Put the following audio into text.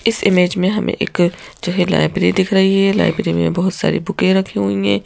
इस इमेज में हमें एक जो है लाइब्रेरी दिख रही है लाइब्रेरी में बहुत सारी बुकें रखी हुई है।